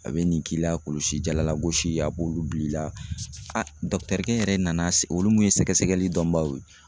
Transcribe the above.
A be nin k'i la kulusi jala lagosi a b'olu bil'i la aa dɔkitɛrikɛ in yɛrɛ nana se olu mun ye sɛgɛsɛgɛli dɔnbagaw ye